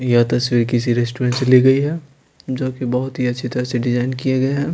यहां तस्वीर किसी रेस्टोरेंट से ली गई है जो कि बहुत ही अच्छी तरह से डिजाइन किए गए हैं।